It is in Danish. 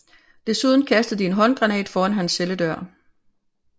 Desuden kastede de en håndgranat foran hans celledør